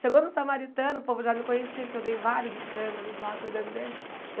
Chegou num samaritano, o povo já me conhecia porque eu dei vários escândalos lá cuidando dele.